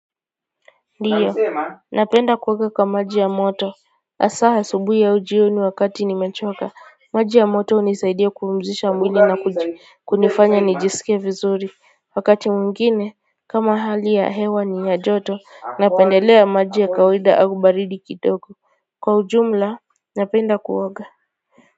Ndiyo, napenda kuoga kwa maji ya moto. Asaha asubui au jioni wakati nimechoka, maji ya moto hunisaidia kupumzisha mwili na kunifanya nijisikie vizuri. Wakati mwingine, kama hali ya hewa ni ya joto, napendelea maji ya kawaida au baridi kidogo. Kwa ujumla, napenda kuoga.